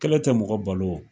Kɛlɛ tɛ mɔgɔ balo wo.